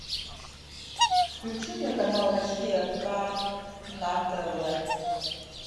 включи мне канал россия к на тв